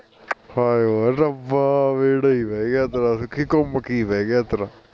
ਹਾਏ ਓ ਰੱਬਾ ਬੇੜਾ ਈ ਬਹਿ ਗਿਆ ਤੇਰਾ ਸੁਖੀ ਘੁਮ ਕੇ ਈ ਬਹਿ ਗਿਆ ਤੇਰਾ